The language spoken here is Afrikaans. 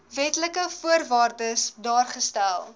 wetlike voorwaardes daargestel